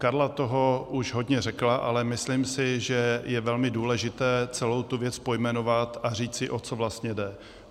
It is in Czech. Karla toho už hodně řekla, ale myslím si, že je velmi důležité celou tu věc pojmenovat a říct si, o co vlastně jde.